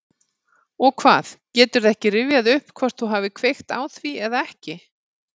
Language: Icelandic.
Og hvað, geturðu ekki rifjað upp hvort þú hafir kveikt á því eða ekki?